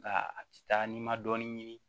Nka a ti taa n'i ma dɔɔnin ɲini